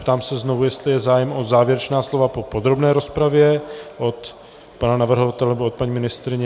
Ptám se znovu, jestli je zájem o závěrečná slova po podrobné rozpravě od pana navrhovatele, nebo od paní ministryně.